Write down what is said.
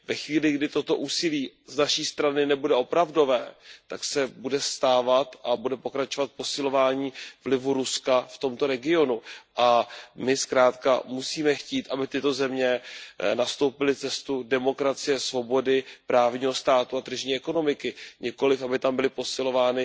Ve chvíli, kdy toto úsilí z naší strany nebude opravdové, tak bude pokračovat posilování vlivu Ruska v tomto regionu a my zkrátka musíme chtít, aby tyto země nastoupily cestu demokracie, svobody, právního státu a tržní ekonomiky, nikoliv, aby tam byly posilovány